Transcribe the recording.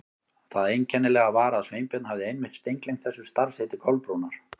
Það einkennilega var að Sveinbjörn hafði einmitt steingleymt þessu starfsheiti Kolbrúnar.